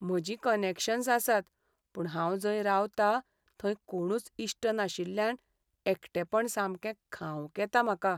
म्हजीं कनॅक्शन्स आसात पूण हांव जंय रावतां थंय कोणूच इश्ट नाशिल्ल्यान एकटेपण सामकें खावंक येता म्हाका.